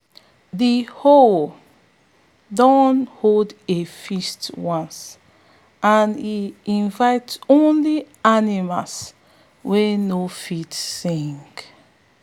de owl don hold a feast once and e invite only animals wey no fit sing.